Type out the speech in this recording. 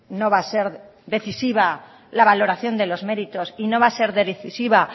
no va a ser decisiva la valoración de los meritos y no va a ser decisiva